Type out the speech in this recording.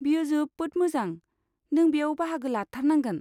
बेयो जोबोद मोजां, नों बेयाव बाहागो लाथारनांगोन।